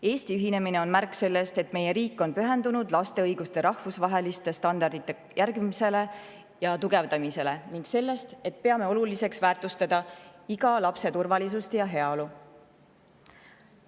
Eesti ühinemine on märk sellest, et meie riik on pühendunud laste õiguste rahvusvaheliste standardite järgimisele ja tugevdamisele, ning sellest, et peame oluliseks väärtustada iga lapse turvalisust ja heaolu.